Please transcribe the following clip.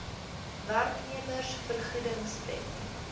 werknemers vergoedings wet